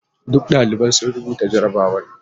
Duka daliban sun rubuta jarrabawar.